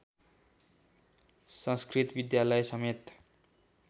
संस्कृत विद्यालय समेत